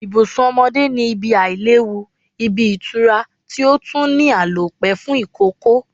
Ibùsùn omodé ni ibi Àìléwu, ibi ìtura ti otun ni Àlòpé fun ìkókó